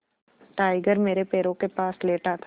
tiger मेरे पैरों के पास लेटा था